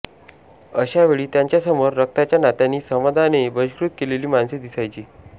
अशा वेळी त्यांच्यासमोर रक्ताच्या नात्यांनी समाजाने बहिष्कृत केलेली माणसे दिसायची